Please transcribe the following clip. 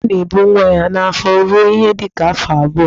Enyí na-ebu nwa ya n'afọ ruo ihe dịka afọ abụọ.